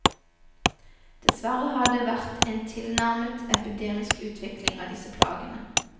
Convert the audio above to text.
Dessverre har det vært en tilnærmet epidemisk utvikling av disse plagene.